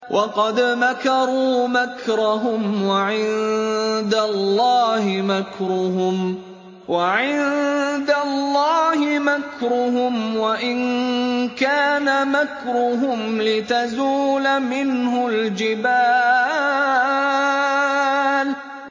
وَقَدْ مَكَرُوا مَكْرَهُمْ وَعِندَ اللَّهِ مَكْرُهُمْ وَإِن كَانَ مَكْرُهُمْ لِتَزُولَ مِنْهُ الْجِبَالُ